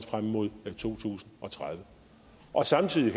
frem mod to tusind og tredive samtidig